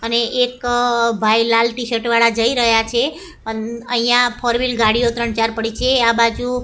અને એક ભાઈ લાલ ટીશર્ટ વાળા જઇ રહ્યા છે અહિયા ફોર વ્હીલ ગાડીઓ ત્રણ-ચાર પડી છે આ બાજુ --